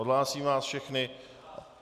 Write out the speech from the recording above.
Odhlásím vás všechny.